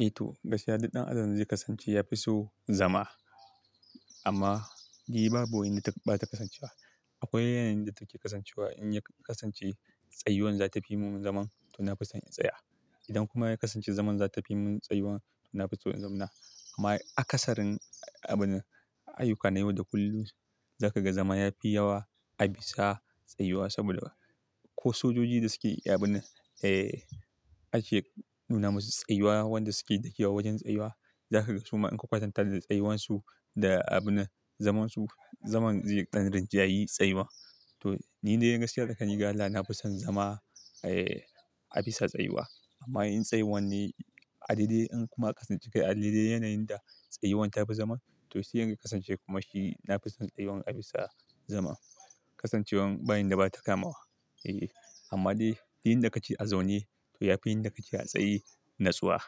Eh to! Gaskiya duk ɗan adan zai kasance ya fi so zama. Amma duk ba yanda bata kasancewa. Akwai yanayin da take kasancewa in ya kasance tsayuwan za ta fi mun zaman to na fi son in tsaya. Idan kuma ya kasance zaman za ta fi mun tsayuwan to na fi son in zama na. Amma a akasarin abun nan, ayyuka na yau da kullum za ka ga zama ya fi yawa a bisa tsayuwa saboda ko sojoji da suke yi abun nan eh ake nuna musu tsayuwa wanda suke dauke wa wajen tsayuwa. Za ka ga su ma in ka kwatanta da tsayuwan su da abun zaman su, zaman zai yi ɗan rinjaye tsayuwa. To ni dai gaskiya da tsakani da Allah nafi so zama a bisa tsayuwa. Amma in tsayuwan ne a dare in kuma kasance a dare yanayin da tsayuwan ta fi zaman to shi yanzu ya kasance kuma shi na fi son tsayuwan a bisa zaman. Kasancewan ba inda bata kamawa. Eeh amma dai yin da kake a zaune to ya fi yin da kake a tsaye natsuwa.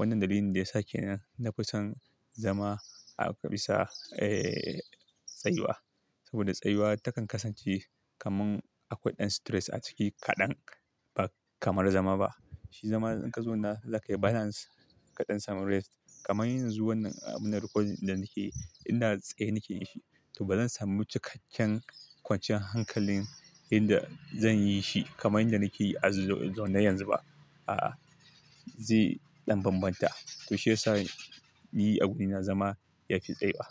Wannan dalilin da ya sa kenan na fi son zama a bisa tsayuwa. Saboda tsayuwa takan kasance kaman akwai ɗan stress a ciki kaɗan ba kamar zama ba. Shi zama in ka zauna za kai balance kaɗan samun rest kamar yanzu wannan abun recording da nake, inda tsaye nake yi shi to ba zan samu cikakken kwanciyar hankalin inda zan yi shi kamar inda nake yi a zaune yanzu ba. A'a, zai ɗan bambanta. To shi ya sa ni agurina zama ya fi tsayuwa.